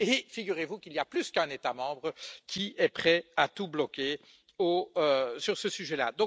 Et figurez vous qu'il y a plus qu'un État membre qui est prêt à tout bloquer sur ce sujet là.